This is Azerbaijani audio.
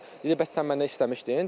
Dedi, bəs sən məndən istəmişdin.